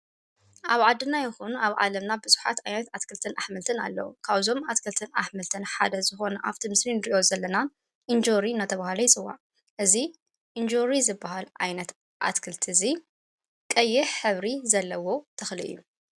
ኣብ ዓድና ይኹን ኣብ ዓለምና ብዙኃት ኣይነት ኣትክልትን ኣኅምልትን ኣለዉ። ካውዞም ኣትክልትን ኣኅምልትን ሓደ ዝኾነ ኣብቲ ምስኒን ድእዮ ዘለናን ኢንዙሪ ናተ ብሃለ ኣይጽዋ እዙ ኢንዙር ዝበሃል ኣይነት ኣትክልቲ እዙይ ቀየህ ሕብሪ ዘለዎ ተኽል እዩ።